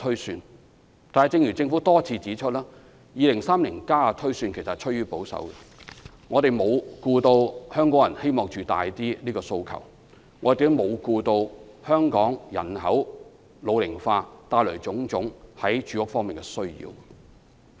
然而，正如政府多次指出，《香港 2030+》的推算其實趨於保守，沒有顧及香港人希望增加居住面積的訴求，也沒有顧及香港人口老齡化帶來的種種住屋需求。